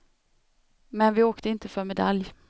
Men vi åkte inte för medalj.